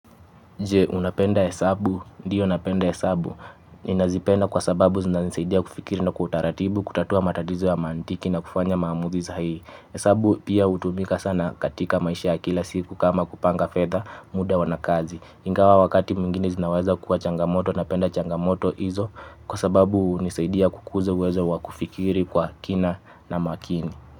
Je, unapenda hesabu. Ndiyo napenda hesabu. Ninazipenda kwa sababu zinanisaidia kufikiri na kwa utaratibu, kutatua matatizo ya mantiki na kufanya maamuzi sahihi. Hesabu pia hutumika sana katika maisha ya kila siku kama kupanga fedha muda na kazi. Ingawa wakati mwingine zinaweza kuwa changamoto napenda changamoto hizo kwa sababu hunisaidia kukuza uwezo wa kufikiri kwa kina na makini.